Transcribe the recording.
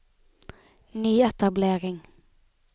nyetablering